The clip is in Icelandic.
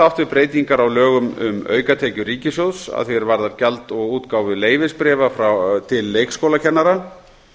við breytingar á lögum um aukatekjur ríkissjóðs að því er varðar gjald af útgáfu leyfisbréfa til leikskólakennara